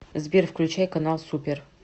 сбер включай канал супер